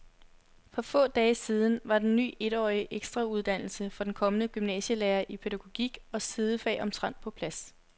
For få dage siden var den ny etårige ekstrauddannelse for kommende gymnasielærere i pædagogik og sidefag omtrent på plads.